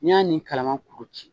Ni y'a ni kalaman kuru ci